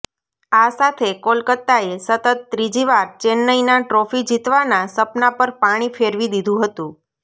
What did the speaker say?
આ સાથે કોલકત્તાએ સતત ત્રીજીવાર ચેન્નઈના ટ્રોફી જીતવાના સપના પર પાણી ફેરવી દીધું હતું